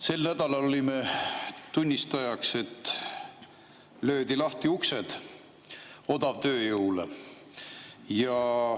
Sel nädalal olime tunnistajaks, kui löödi lahti uksed odavtööjõule.